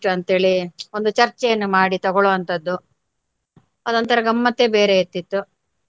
ಅಂತ್ ಹೇಳಿ ಒಂದು ಚರ್ಚೆಯನ್ನು ಮಾಡಿ ತಗೊಳುವವಂತದ್ದು ಅದೊಂತರ ಗಮ್ಮತ್ತೆ ಬೇರೆ ಇರ್ತಿತ್ತು.